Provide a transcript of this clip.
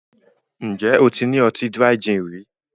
Ǹjẹ́ o ti ní ọtí Dry gin rí